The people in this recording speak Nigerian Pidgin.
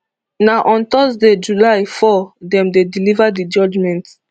na on thursday july four dem dey deliver di judgement